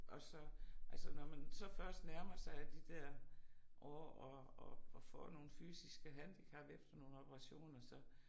Og så altså når man så først nærmer sig de dér år og og får nogle fysiske handicap efter nogle operationer så